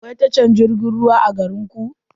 Akwai tashar jirgin ruwa a garinku?